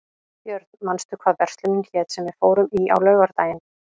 Björn, manstu hvað verslunin hét sem við fórum í á laugardaginn?